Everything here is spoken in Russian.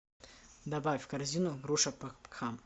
добавь в корзину груша пакхам